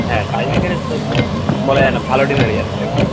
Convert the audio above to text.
হ্যাঁ tie breaker এর তো বলা যায় না ভালো team হেরে যাবে tie breaker এর